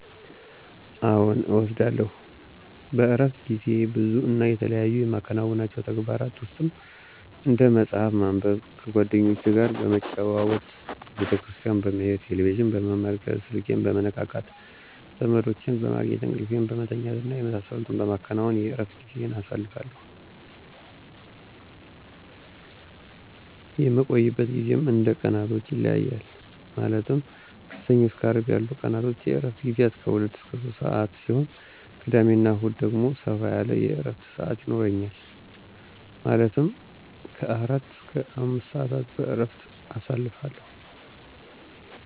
አዎን እወስዳለሁ። በእረፍት ጊዜዬም ብዙ እና የተለያዩ የማከናውናቸው ተግባራ ውስጥም፦ እንደ መፅሐፍ ማንበብ፣ ከጓደኞቼ ጋር በመጨዋወት፣ ቤተክርስቲያን በመሄድ፣ ቴሌቪዥን በመመልከት፣ ስልኬን በመነካካት፣ ዘመዶቼን በማግኘት፣ እንቅልፌን በመተኛት እና የመሳሰሉትን በማከናወን የእረፍት ጊዜዬን አሳልፋሁ። የምቆይበት ጊዜም እንደ ቀናቶች ይለያያል ማለትም ከሰኞ እስከ አርብ ያሉት ቀናቶች የእረፍት ግዜያት ከ 2-3 ሰዓት ሲሆን ቅዳሜ እና እሁድ ደግሞ ሰፋ ያለ የእረፍት ሰዓት ይኖረኛል ማለትም ከ 4-5 ሰዓታትን በእረፍት አሳልፋለሁ።